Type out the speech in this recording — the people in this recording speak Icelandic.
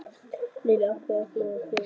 Lillý: Af hverju ert þú hér í dag?